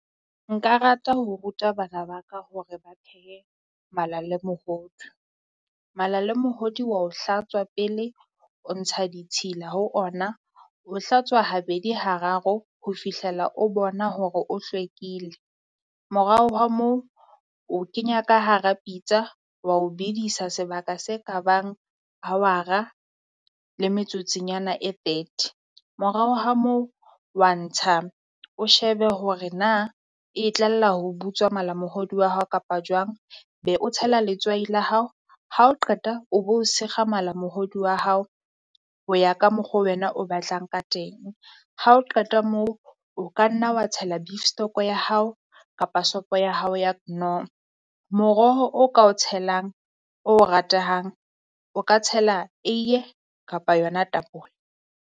Nka rata ho ruta bana ba ka hore ba phehe mala le mohodu. Mala le mohodi wa o hlatswa pele o ntsha ditshila ho ona. O hlatswa habedi hararo ho fihlela o bona hore o hlwekile, morao ho wa moo o kenya ka hara pitsa wa o bedisa sebaka se ka bang hawara le metsotsonyana e thirty. Morao ha moo wa ntsha o shebe hore na e tlalla ho butswa malamohodu wa hao kapa jwang be o tshela letswai la hao, ha o qeta o bo o sekga malamohodu wa hao ho ya ka mokgo wena o batlang ka teng. Ha o qeta moo o ka nna wa tshela beef stock ya hao kapa sopo ya hao ya Knorr, moroho o ka o tshelang, o ratehang, o ka tshela ui kapa yona tapole.